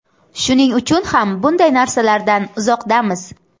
Shuning uchun ham bunday narsalardan uzoqdamiz.